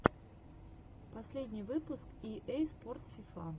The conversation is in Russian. последний выпуск и эй спортс фифа